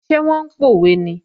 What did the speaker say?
Ṣé wọ́n ń pòwe ni?